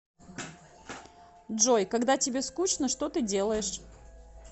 джой когда тебе скучно что ты делаешь